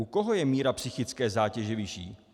U koho je míra psychické zátěže vyšší?